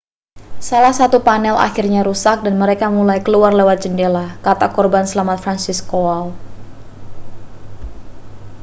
salah satu panel akhirnya rusak dan mereka mulai keluar lewat jendela kata korban selamat franciszek kowal